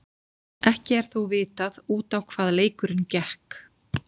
Ekki er þó vitað út á hvað leikurinn gekk.